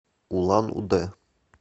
улан удэ